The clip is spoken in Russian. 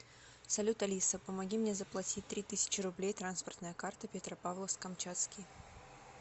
салют алиса помоги мне заплатить три тысячи рублей транспортная карта петропавловск камчатский